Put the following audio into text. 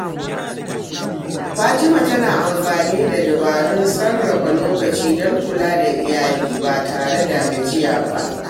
Fatima tana amfani da dabarun sarrafa lokaci don kula da iyali ba tare da gajiya ba.